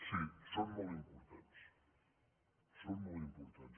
sí són molt importants són molt importants